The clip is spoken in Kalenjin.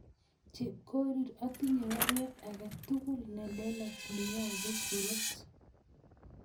Chepkorir atinye baruet age tugul nelelach neyobu Koros